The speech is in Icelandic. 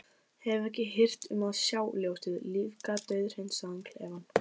Hef ekki hirt um að sjá ljósið lífga dauðhreinsaðan klefann.